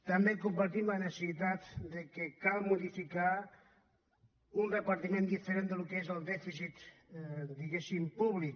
també compartim la necessitat que cal modificar un repartiment diferent del que és el dèficit diguéssim públic